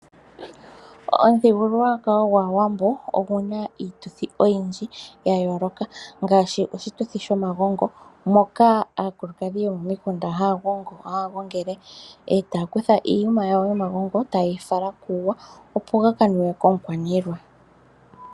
Omuthigululwakalo gwaawambo Oguna iituthi oyidhi yayooloka, ngaashi oshituthi shomagongo moka aakulukadhi yomomikunda haya gongele etaya kutha iiyuma yawo yomagongo ta yeyi fala kuuwa opo gakanuwe komukwaanilwa.